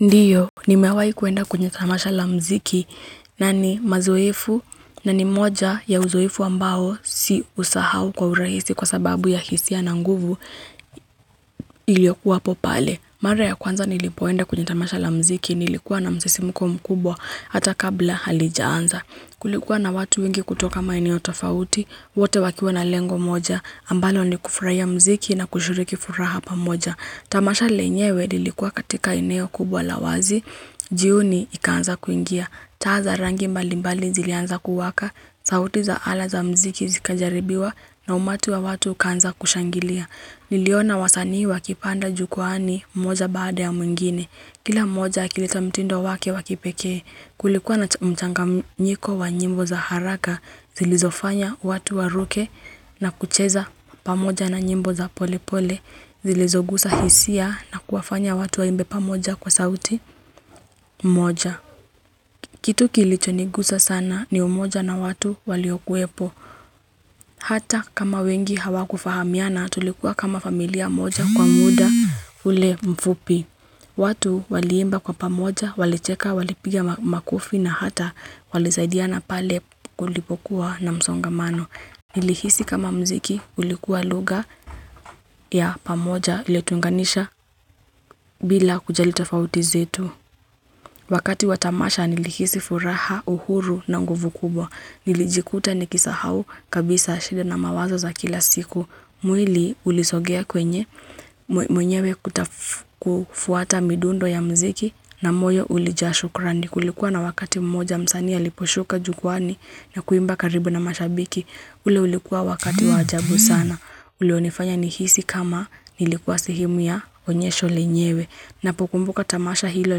Ndiyo, nimewahi kuenda kwenye tamasha la mziki na ni mazoefu na ni moja ya uzoefu ambao si usahau kwa urahisi kwa sababu ya hisia na nguvu iliyokuwapo pale. Mara ya kwanza nilipoenda kwenye tamasha la mziki, nilikuwa na msisimko mkubwa hata kabla halijaanza. Kulikuwa na watu wengi kutoka maeneo tofauti, wote wakiwa na lengo moja, ambalo ni kufurahia mziki na kushiriki furaha pamoja. Tamasha lenyewe lilikuwa katika eneo kubwa la wazi, jioni ikaanza kuingia. Taa za rangi mbalimbali zilianza kuwaka, sauti za ala za mziki zikajaribiwa na umati wa watu ukaanza kushangilia. Niliona wasanii wakipanda jukwaani moja baada ya mwingine. Kila moja akileta mtindo wake wa kipekee kulikuwa na mchanganyiko wa nyimbo za haraka zilizofanya watu waruke na kucheza pamoja na nyimbo za pole pole. Zilizoguza hisia na kuwafanya watu waimbe pamoja kwa sauti moja. Kitu kilichonigusa sana ni umoja na watu waliokuwepo. Hata kama wengi hawakufahamiana tulikuwa kama familia moja kwa muda ule mfupi. Watu waliimba kwa pamoja, walicheka, walipigia makofi na hata walisaidiana pale kulipokuwa na msongamano. Nilihisi kama mziki ulikuwa lugha ya pamoja iliyotuunganisha bila kujali tofauti zetu. Wakati wa tamasha nilihisi furaha uhuru na nguvu kubwa. Nilijikuta nikisahau kabisa shida na mawazo za kila siku. Mwili ulisogea kwenye mwenyewe kuta kufuata midundo ya mziki na moyo ulijaa shukurani. Ni kulikuwa na wakati mmoja msanii aliposhuka jukwaani na kuimba karibu na mashabiki. Ule ulikuwa wakati wa ajabu sana. Ulionifanya nihisi kama nilikuwa sehemu ya onyesho lenyewe. Napokumbuka tamasha hilo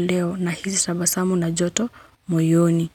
leo nahisi tabasamu na joto moyoni.